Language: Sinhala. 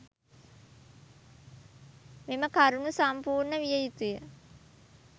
මෙම කරුණු සම්පූර්ණ විය යුතුය.